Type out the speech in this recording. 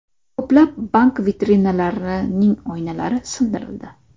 Ko‘plab bank vitrinalarining oynalari sindirildi.